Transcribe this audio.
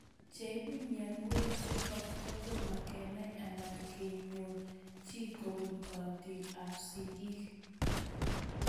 Cheipu mionwek chutok kotomo kenai anan konyor chii kopun karatik ab sig'ik